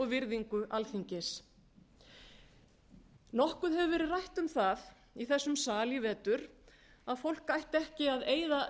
virðingu alþingis nokkuð hefur verið rætt um það í þessum sal í vetur að fólk ætti ekki að eyða